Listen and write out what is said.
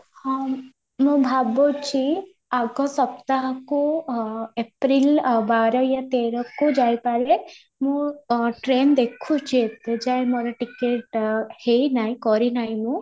ହଁ, ମୁଁ ଭାବୁଛି ଆଗ ସପ୍ତାହକୁ ଆଁ April ବାର ତେର କୁ ଯାଇପାରେ, ମୁଁ ଆଁ train ଦେଖୁଛି ଏ ଯାଏଁ ମୋର ticket ଆଁ ହେଇନାହିଁ କରିନାହିଁ ମୁଁ